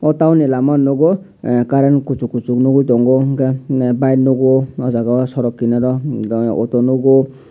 aw dol ni lama nugo current kuchu kuchu ungui tongo bike nugo aw jaaga sorok kinaro auto nugo.